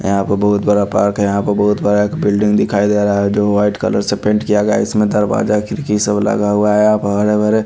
यहां पे बहुत बड़ा पार्क है यहां पे बहुत बड़ा एक बिल्डिंग दिखाई दे रा है जो व्हाइट कलर से पेंट किया गया इसमें दरवाजा खिड़की सब लगा हुआ है यहां प हरे भरे--